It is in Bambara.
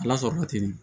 Ala sɔrɔla ten de